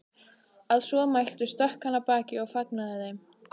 Að svo mæltu stökk hann af baki og fagnaði þeim.